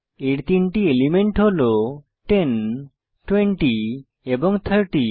এর তিনটি এলিমেন্ট হল 10 20 এবং 30